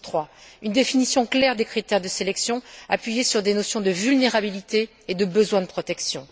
J'en cite trois une définition claire des critères de sélection fondée sur des notions de vulnérabilité et de besoins de protection